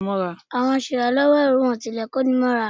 Àwọn aṣèràlọ́wọ́ èrò wọn kò tilẹ̀ kóni mọ́ra.